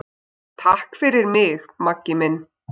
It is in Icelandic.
Takk fyrir mig, Maggi minn.